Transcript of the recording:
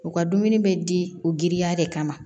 U ka dumuni bɛ di u giriya de kama